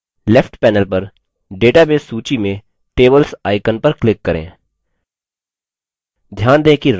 left panel पर database सूची में tables icon पर click करें